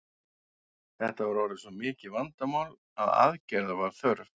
Þetta var orðið svo mikið vandamál að aðgerða var þörf.